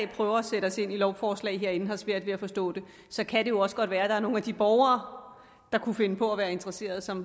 prøver at sætte os ind i lovforslag herinde har svært ved at forstå det så kan det jo også godt være nogle af de borgere der kunne finde på at være interesseret som